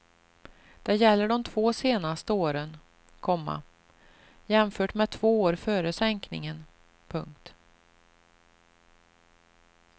Det gäller de två senaste åren, komma jämfört med två år före sänkningen. punkt